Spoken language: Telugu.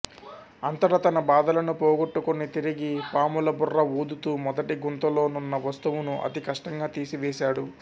అంతట తన బాధలను పోగొట్టుకొని తిరిగి పాములబుర్ర ఊదుతూ మొదటి గుంతలో నున్న వస్తువును అతి కష్టంగా తీసి వేశాడు